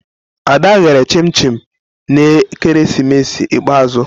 Ada ghere chim-chim na ekeresimesi ikpeazụ.